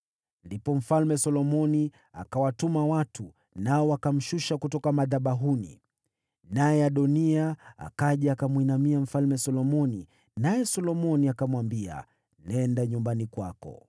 Ndipo Mfalme Solomoni akawatuma watu, nao wakamshusha kutoka madhabahuni. Naye Adoniya akaja akamwinamia Mfalme Solomoni, naye Solomoni akamwambia, “Nenda nyumbani kwako.”